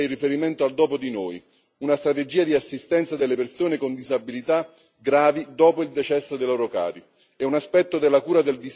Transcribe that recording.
Particolarmente importante è il riferimento al dopo di noi, una strategia di assistenza delle persone con disabilità gravi dopo il decesso dei loro cari.